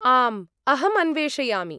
आम्, अहम् अन्वेषयामि।